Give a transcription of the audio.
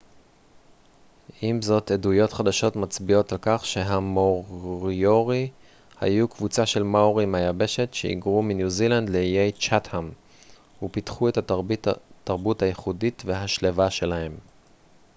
עם זאת עדויות חדשות מצביעות על כך שהמוריורי היו קבוצה של מאורים מהיבשת שהיגרו מניו זילנד לאיי צ'אטהאם ופיתחו את התרבות הייחודית והשלווה שלהם